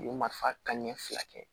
U ye mafan ɲɛ fila kɛ